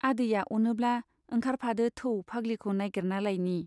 आदैया अनोब्ला ओंखारफादो थौ फाग्लिखौ नाइगिरना लायनि।